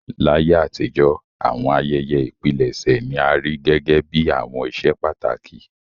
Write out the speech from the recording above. Láyé àtijọ́, àwọn ayẹyẹ ìpilẹ̀ṣẹ̀ ni a rí gẹ́gẹ́ bí àwọn íṣe pàtàkì.